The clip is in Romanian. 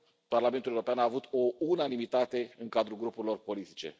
Parlamentul European a avut o unanimitate în cadrul grupurilor politice.